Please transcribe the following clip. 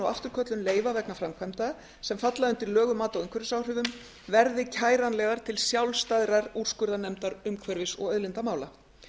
og afturköllun leyfa vegna framkvæmda sem falla undir lög um mat á umhverfisáhrifum verði kæranlegar til sjálfstæðrar úrskurðarnefndar umhverfis og auðlindamála